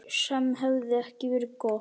Sem hefði ekki verið gott.